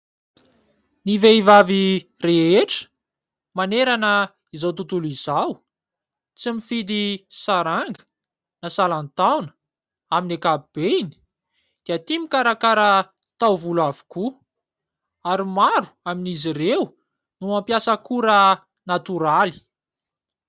Ny vehivavy rehetra manerana izao tontolo izao tsy mifidy saranga na salan-taona amin'ny ankapobeny dia tia mikarakara taovolo avokoa ary maro amin'izy ireo no mampiasa akora natoraly.